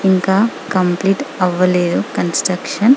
ఇంకా కంప్లీట్ అవ్వలేదు కాంస్త్రుక్షన్ --